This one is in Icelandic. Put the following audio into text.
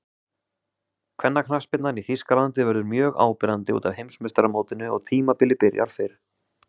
Kvennaknattspyrnan í Þýskalandi verður mjög áberandi útaf Heimsmeistaramótinu og tímabilið byrjar fyrr.